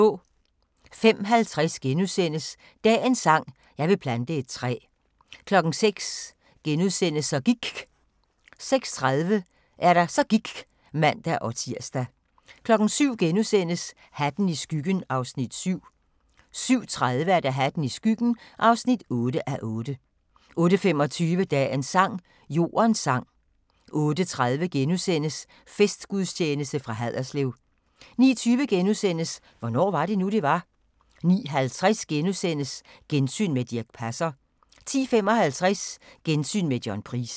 05:50: Dagens sang: Jeg vil plante et træ * 06:00: Så gIKK * 06:30: Så gIKK' (man-tir) 07:00: Hatten i skyggen (7:8)* 07:30: Hatten i skyggen (8:8) 08:25: Dagens sang: Jordens sang 08:30: Festgudstjeneste fra Haderslev * 09:20: Hvornår var det nu, det var? * 09:50: Gensyn med Dirch Passer * 10:55: Gensyn med John Price